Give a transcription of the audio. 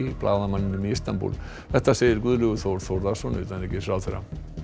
blaðamanninum í Istanbúl þetta segir Guðlaugur Þór Þórðarsson utanríkisráðherra